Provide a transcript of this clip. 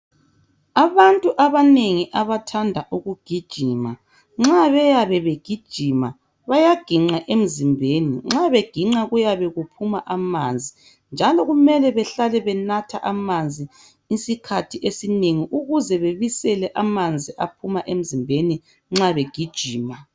Abantu abanengi abathanda ukugijima nxa beyabe begijima bayagiqa emzimbeni nxa begiqa kuyabe kuphuma amanzi njalo kumele behlale benatha amanzi isikhathi esinengi ukuze bebisele amanzi aphuma emzimbeni nxa begijima.